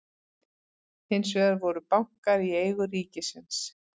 Hins vegar voru bankar í eigu ríkisins.